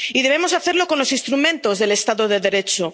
Y debemos hacerlo con los instrumentos del Estado de Derecho.